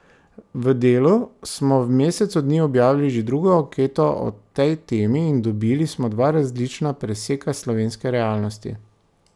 V Delu smo v mesecu dni objavili že drugo anketo o tej temi in dobili smo dva različna preseka slovenske realnosti.